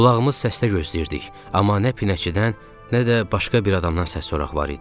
Qulağımız səsdə gözləyirdik, amma nə pinəçidən, nə də başqa bir adamdan səs sorak var idi.